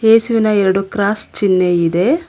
ಏಸುವಿನ ಎರಡು ಕ್ರಾಸ್ ಚಿನ್ಹೆ ಇದೆ.